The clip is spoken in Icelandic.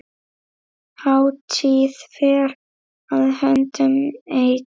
Hátíð fer að höndum ein.